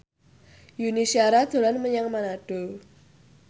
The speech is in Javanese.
Yuni Shara dolan menyang Manado